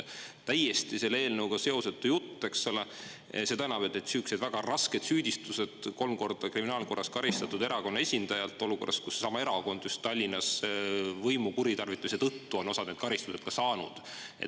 Täiesti selle eelnõuga seosetu jutt, seda enam, et sihukesed väga rasked süüdistused kolm korda kriminaalkorras karistatud erakonna esindajalt, olukorras, kus seesama erakond just Tallinnas võimu kuritarvituse tõttu on osad need karistused ka saanud.